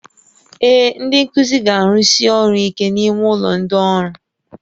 Ee, ndị nkuzi ga-arụsi ọrụ ike n'ime ụlọ ndị ọrụ